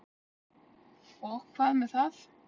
Og hvað með það?